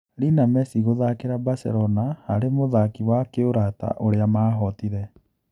Lina Mesi gũthakĩra Baselona harĩ mũthaki wa kĩũrata ũrĩa mahootire.